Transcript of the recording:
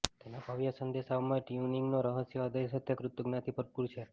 તેના ભવ્ય સંદેશાઓમાં ટ્યુનિંગનો રહસ્ય હૃદય સાથે કૃતજ્ઞતાથી ભરપૂર છે